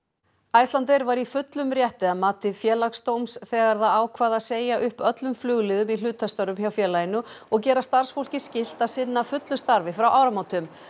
Icelandair var í fullum rétti að mati Félagsdóms þegar það ákvað segja upp öllum flugliðum í hlutastöfum hjá félaginu og og gera starfsfólki skylt að sinna fullu starfi frá áramótum